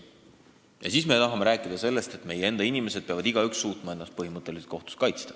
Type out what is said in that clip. Ja siis me tahame rääkida sellest, et meie inimesed peavad suutma ennast põhimõtteliselt kohtus kaitsta.